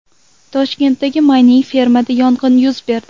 Toshkentdagi mayning-fermada yong‘in yuz berdi.